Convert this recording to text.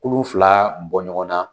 Kulu fila bɔ ɲɔgɔn na.